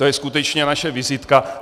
To je skutečně naše vizitka.